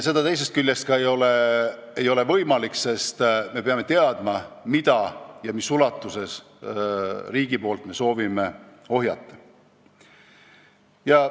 Teisest küljest ei ole see ka võimalik, sest me peame teadma, mida ja mis ulatuses riik soovib ohjeldada.